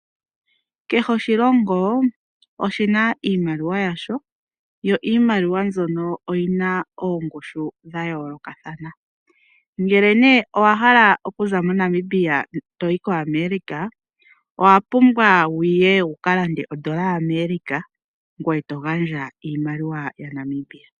Kehe oshilongo oshi na iimaliwa yasho, yo iimaliwa mbyono oyi na oongushu dha yoolokathana. Ngele owa hala okuza moNamibia to yi koAmerica, owa pumbwa wu ye wu ka lande odola yaAmerica ngoye to gandja iimaliwa yaNamibia.